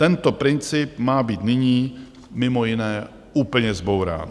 Tento princip má být nyní mimo jiné úplně zbourán.